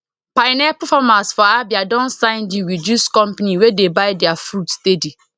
pineapple farmers for abia don sign deal with juice company wey dey buy their fruit steady